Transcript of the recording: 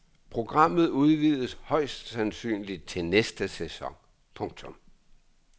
Programmet udvides højst sandsynligt til næste sæson. punktum